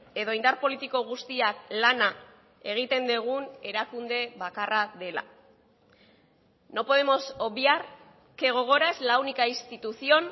edo indar politiko guztiak lana egiten dugun erakunde bakarra dela no podemos obviar que gogora es la única institución